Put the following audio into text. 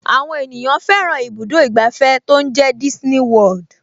Àwọn ènìyàn fẹ́ràn ibùdó ìgbàfẹ́ tó ń jẹ́ Disney World